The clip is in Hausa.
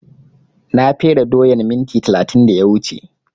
Na fere doyan minti talatin da ya wuce